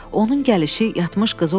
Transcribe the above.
Onun gəlişi yatmış qızı oyatdı.